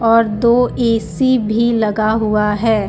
और दो ऐ_सी भी लगा हुआ है.